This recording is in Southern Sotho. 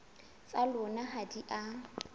tsa lona ha di a